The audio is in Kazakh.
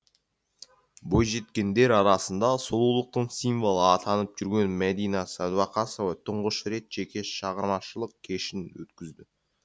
бойжеткендер арасында сұлулықтың символы атанып жүрген мәдина садуақасова тұңғыш рет жеке шығармашылық кешін өткізді